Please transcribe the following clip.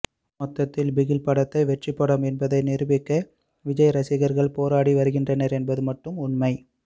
மொத்தத்தில் பிகில் படத்தை வெற்றிப்படம் என்பதை நிரூபிக்க விஜய் ரசிகர்கள் போராடி வருகின்றனர் என்பது மட்டும் உண்மை